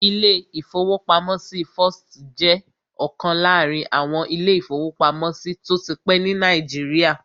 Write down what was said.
Ilé-ìfowópamọ́sí First jẹ́ ọ̀kan láàrin àwọn ilé-ìfowópamọ́sí tó ti pẹ́ ní Nàìjíríà